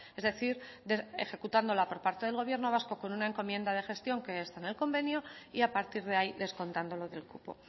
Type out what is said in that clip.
es decir ejecutándola por parte del gobierno vasco con una encomienda de gestión que está en el convenio y a partir de ahí descontándolo del cupo